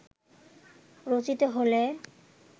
রচিত হলে